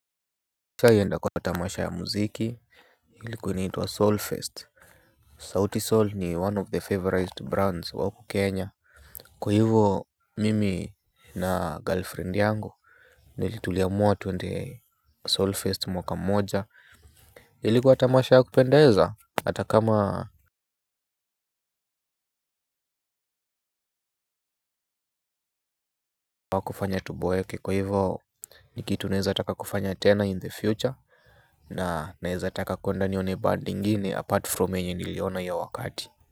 Kwa hivyo nda kwa tamasha ya muziki ilikuwa inaitwa soul fest Souti soul ni one of the favorized brands wauku kenya. Kwa hivyo mimi na girlfriend yangu nilituliamua twende soul fest mwaka mmoja. Ilikuwa tamasha ya kupendeza. Atakama awakufanya tuboeke kwa hivyo nikitu naeza taka kufanya tena in the future. Na naeza taka kuenda nione band ingini apart from yenye niliona iyo wakati Muzika.